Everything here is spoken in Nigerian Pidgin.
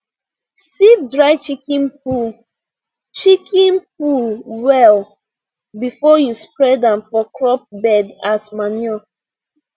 sieve dry chicken poo chicken poo well before you spread am for crop bed as manure